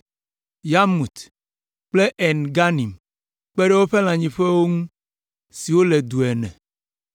Yarmut kple En Ganim, kpe ɖe woƒe lãnyiƒewo ŋu siwo le du ene.